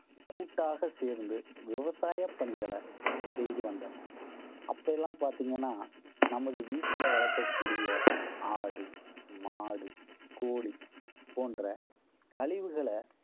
கூட்டாக சேர்ந்து விவசாய பணிகளை செய்து வந்தனர் அப்ப எல்லாம் பாத்தீங்கன்னா, நமது வீட்டில வளர்க்கக்கூடிய ஆடு, மாடு, கோழி, போன்ற கழிவுகளை